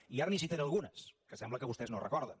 i ara li’n citaré algunes que sembla que vostès no recorden